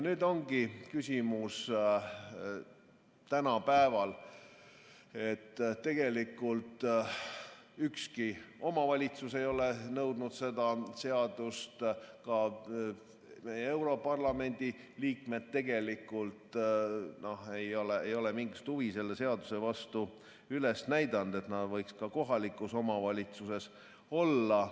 Nüüd ongi küsimus, et tegelikult ükski omavalitsus ei ole seda seadust nõudnud, ka meie europarlamendi liikmed tegelikult ei ole mingisugust huvi selle vastu üles näidanud, et nad võiks ka kohalikus omavalitsuses olla.